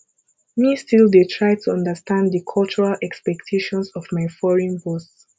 me still dey try to understand di cultural expectations of my foreign boss